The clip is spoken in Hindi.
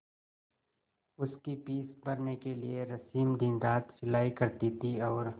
उसकी फीस भरने के लिए रश्मि दिनरात सिलाई करती थी और